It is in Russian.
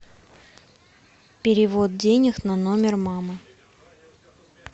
перевод денег на номер мамы